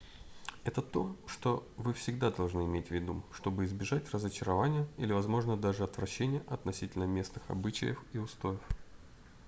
это то что вы всегда должны иметь в виду чтобы избежать разочарования или возможно даже отвращения относительно местных обычаев и устоев